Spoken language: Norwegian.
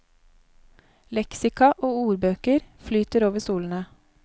Leksika og ordbøker flyter over stolene.